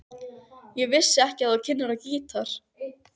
Ég vissi ekki að þú kynnir á gítar.